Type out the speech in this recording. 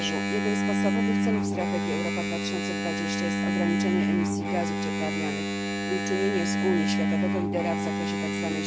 Jednym z podstawowych celów strategii Europa 2020 jest ograniczenie emisji gazów cieplarnianych i uczynienie z Unii światowego lidera w zakresie tzw.